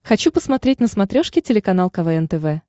хочу посмотреть на смотрешке телеканал квн тв